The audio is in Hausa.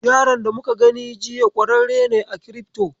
Yaron da muka gani jiya ƙwararre ne a kirifto.